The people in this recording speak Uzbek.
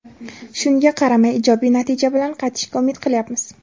Shunga qaramay, ijobiy natija bilan qaytishga umid qilyapmiz.